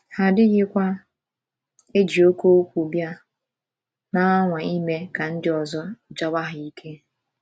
Ha adịghịkwa ‘ eji oké okwu bịa, ’ na - anwa ime ka ndị ọzọ jawa ha ike.